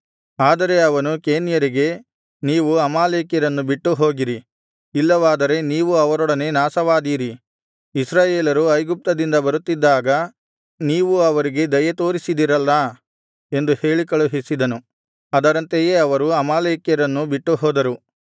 ಆದರೆ ಅವನು ಕೇನ್ಯರಿಗೆ ನೀವು ಅಮಾಲೇಕ್ಯರನ್ನು ಬಿಟ್ಟುಹೋಗಿರಿ ಇಲ್ಲವಾದರೆ ನೀವೂ ಅವರೊಡನೆ ನಾಶವಾದೀರಿ ಇಸ್ರಾಯೇಲರು ಐಗುಪ್ತದಿಂದ ಬರುತ್ತಿದ್ದಾಗ ನೀವು ಅವರಿಗೆ ದಯೆತೋರಿಸಿದಿರಲ್ಲಾ ಎಂದು ಹೇಳಿಕಳುಹಿಸಿದನು ಅದರಂತೆಯೇ ಅವರು ಅಮಾಲೇಕ್ಯರನ್ನು ಬಿಟ್ಟುಹೋದರು